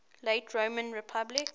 late roman republic